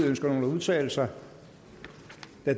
ønsker nogen at udtale sig